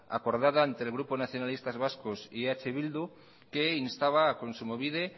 acordada entre el grupo nacionalistas vascos y eh bildu que instaba a kontsumobide